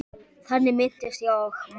Þannig minnist ég Magga.